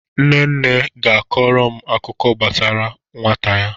Nne nne ga-akọrọ m akụkọ gbasara nwata ya.